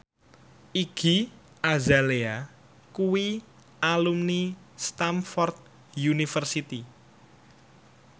Iggy Azalea kuwi alumni Stamford University